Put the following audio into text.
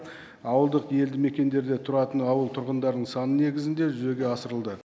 ауылдық елді мекендерде тұратын ауыл тұрғындарының саны негізінде жүзеге асырылды